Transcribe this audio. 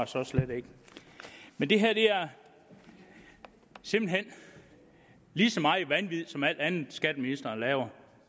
så slet ikke men det her er simpelt hen lige så meget vanvid som alt andet skatteministeren laver